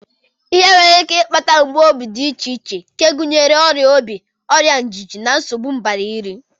Ihe nwere ike ịkpata mgbu obi dị iche iche nke gụnyere ọrịa obi, ọrịa ngụgụ, na nsogbu mgbari nri